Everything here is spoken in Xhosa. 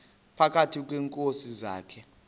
phakathi kweenkosi zakhe